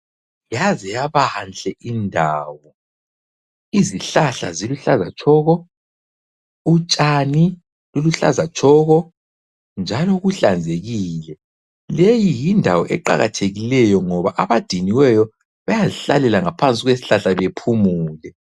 Yaze yabanhle indawo , izihlahla ziluhlaza tshoko , utshani luluhlaza tshoko njalo kuhlanzekile ,leyi yindawo eqakathekileyo ngoba abadiniweyo bayazihlalela ngaphansi kwesihlahla bephumule.